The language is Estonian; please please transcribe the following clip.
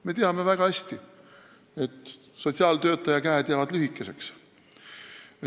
Me teame väga hästi, et sotsiaaltöötaja käed jäävad lühikeseks.